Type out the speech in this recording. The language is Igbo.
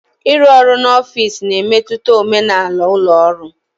Ịrụ ọrụ n'ọfịs na-emetụta omenala ụlọ ọrụ